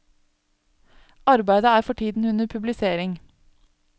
Arbeidet er for tiden under publisering.